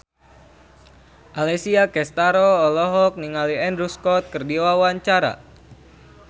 Alessia Cestaro olohok ningali Andrew Scott keur diwawancara